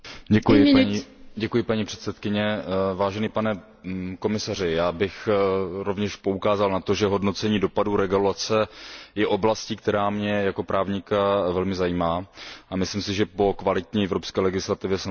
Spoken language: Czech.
Vážený pane komisaři, já bych rovněž poukázal na to, že hodnocení dopadu regulace je oblastí, která mě jako právníka velmi zajímá, a myslím si, že po kvalitní evropské legislativě samozřejmě oprávněně volají miliony evropských občanů.